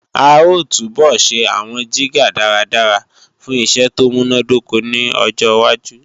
A ó túbọ̀ ṣe àwọn jígà dáradára fún iṣẹ́ tó múnádóko ní ọjọwájú